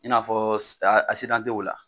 I n'a fɔ si asidantew la